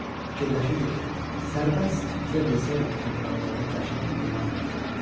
Fikirləşirdi ki, sərbəst üzə bilsəydi köpək balıqlarına dəhşətli divan tutardı.